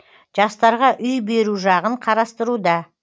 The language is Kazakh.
жастарға үй беру жағын қарастыруда